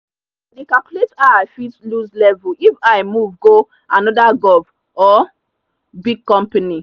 i dey calculate how i fit lose level if i move go another gov or big company.